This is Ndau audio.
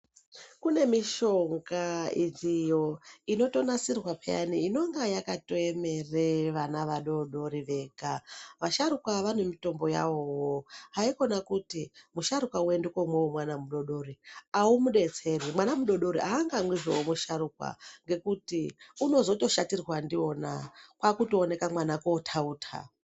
Kune mishonga iriyo inotonasirwa peyani inonga yakatoemere vana vadoodori vega. Vasharukwa vanemitombo yavowo. Haikona kuti musharukwa woende koomwa womwana mudoodori, ahumudetseri mwana mudoodori haangamwizve wemusharukwa, ngekuti unozotoshatirwa ndiwona, kwaakutooneka mwana ootauta.